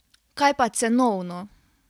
Kaj pa cenovno?